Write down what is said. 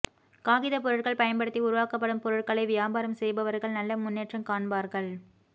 காகிதப்பொருட்கள் பயன்படுத்தி உருவாக்கப்படும் பொருட்களை வியாபாரம் செய்பவர்கள் நல்ல முன்னேற்றம் காண்பார்கள்